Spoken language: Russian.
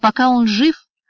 пока он жив